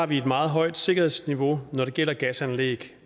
har vi et meget højt sikkerhedsniveau når det gælder gasanlæg